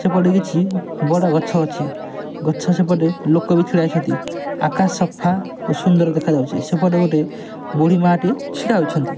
ସେପଟେ କିଛି ବଡ଼ ଗଛ ଅଛି। ଗଛ ସେପଟେ ଲୋକ ବି ଛିଡ଼ା ହେଇଛନ୍ତି। ଆକାଶ ସଫା ଓ ସୁନ୍ଦର ଦେଖାଯାଉଚି। ସେପଟେ ଗୋଟେ ବୁଢ଼ୀ ମାଆ ଟେ ଛିଡ଼ା ହୋଇଛନ୍ତି।